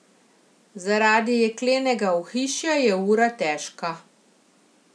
Zaradi jeklenega ohišja je ura težka.